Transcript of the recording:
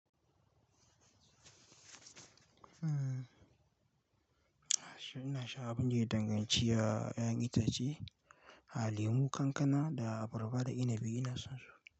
Ina sha abin da ya danganci a 'ya'yan itace, aa lemu, kankana da abarba da inabi ina son su.